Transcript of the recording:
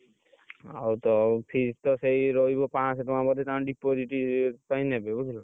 ଆଉ ତ ଆଉ fees ତ ସେଇ ରହିବ ପାଁଶ ଟଙ୍କା ବୋଧେ ତାଙ୍କ deposit ପାଇଁ ନେବେ ବୁଝିଲ ନା,